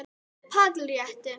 PÁLL: Rétt!